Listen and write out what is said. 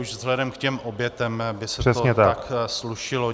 Už vzhledem k těm obětem by se to tak slušelo.